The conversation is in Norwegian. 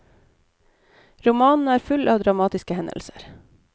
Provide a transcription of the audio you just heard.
Romanen er full av dramatiske hendelser.